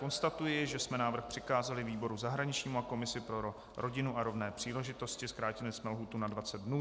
Konstatuji, že jsme návrh přikázali výboru zahraničnímu a komisi pro rodinu a rovné příležitosti, zkrátili jsme lhůtu na 20 dnů.